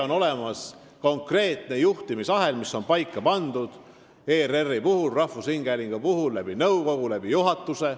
On olemas konkreetne juhtimisahel: ERR-i, rahvusringhäälingu puhul on selleks paika pandud nõukogu ja juhatus.